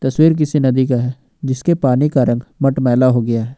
तस्वीर किसी नदी का है जिसके पानी का रंग मटमैला हो गया है।